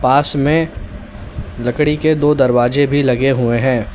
पास में लकड़ी के दो दरवाजे भी लगे हुए हैं।